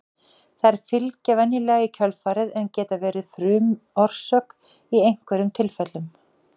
Þær fylgja venjulega í kjölfarið en geta verið frumorsök í einhverjum tilfellum.